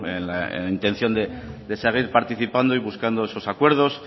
en la intención de seguir participando y buscando esos acuerdos